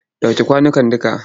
Ɗauke kwanukan dukka!